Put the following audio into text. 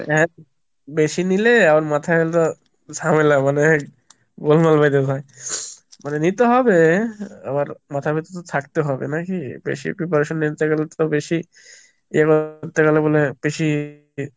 হ্যাঁ বেশি নিলে আমার মাথায় হলো ঝামেলা, মানে এই গোলমাল বেঁধে যায় মানে নিতে হবে, আবার মাথার ভেতর তো থাকতে হবে নাকি? বেশি preparation নিতে গেলে তো বেশি এভাবে নিতে গেলে মনে হয় বেশি